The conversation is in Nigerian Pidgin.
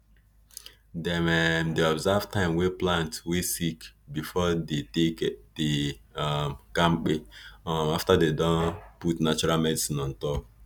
dem um di observe time wey plant wey sick before dey take dey um kampe um after dem put natural medicine on top